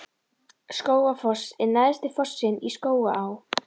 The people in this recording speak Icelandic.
Skógafoss er neðsti fossinn í Skógaá.